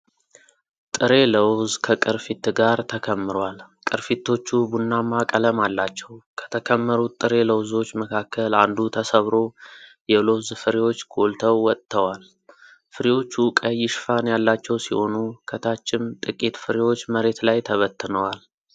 ጥሬ ለውዝ ከቅርፊት ጋር ተከምሯል። ቅርፊቶቹ ቡናማ ቀለም አላቸው። ከተከመሩት ጥሬ ለውዞች መካከል አንዱ ተሰብሮ የለውዝ ፍሬዎች ጎልተው ወጥተዋል። ፍሬዎቹ ቀይ ሽፋን ያላቸው ሲሆኑ፣ ከታችም ጥቂት ፍሬዎች መሬት ላይ ተበትነዋል።